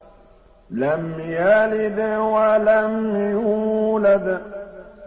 لَمْ يَلِدْ وَلَمْ يُولَدْ